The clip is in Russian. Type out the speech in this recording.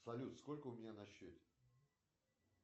салют сколько у меня на счете